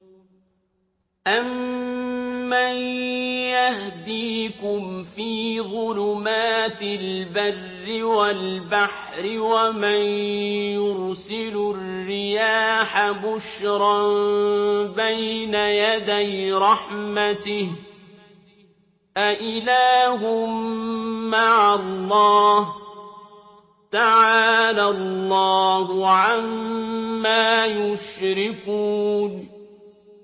أَمَّن يَهْدِيكُمْ فِي ظُلُمَاتِ الْبَرِّ وَالْبَحْرِ وَمَن يُرْسِلُ الرِّيَاحَ بُشْرًا بَيْنَ يَدَيْ رَحْمَتِهِ ۗ أَإِلَٰهٌ مَّعَ اللَّهِ ۚ تَعَالَى اللَّهُ عَمَّا يُشْرِكُونَ